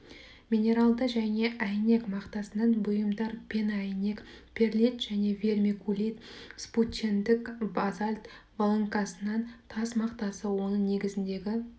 минералды және әйнек мақтасынан бұйымдар пеноәйнек перлит және вермикулит вспучендік базальт волокносынан тас мақтасы оның негізіндегі